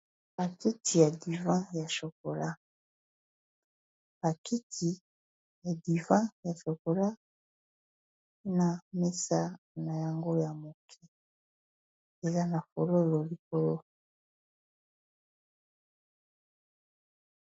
Bakiti ya divan ya chokola, bakiti ya divan ya chokola na mesa na yango ya moke eza na fololo likolo.